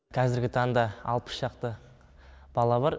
қазіргі таңда алпыс шақты бала бар